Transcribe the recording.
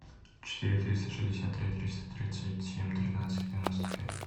четыре триста шестьдесят три триста тридцать семь тринадцать девяносто пять